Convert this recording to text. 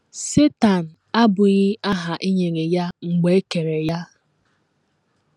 Setan abụghị aha e nyere ya mgbe e kere ya.